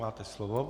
Máte slovo.